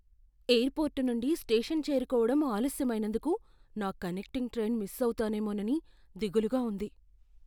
Air port నుండి station చేరుకోవడం ఆలస్యమైనందుకు నా కనెక్టింగ్ ట్రైన్ మిస్ అవుతానేమోనని దిగులుగా ఉంది.